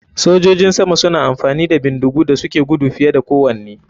Sojojin sama suna amfani da bindigu da suke gudu fiye da kowane.